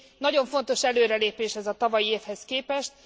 Nagyon fontos előrelépés ez a tavalyi évhez képest.